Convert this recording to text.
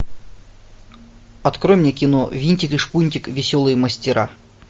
открой мне кино винтик и шпунтик веселые мастера